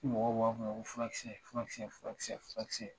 Fo mɔgɔw b'a fɔ n ma ko furakisɛ furakisɛ furakisɛ furakisɛ